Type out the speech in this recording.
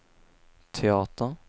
teater